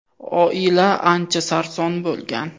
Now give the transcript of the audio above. Oila ancha sarson bo‘lgan.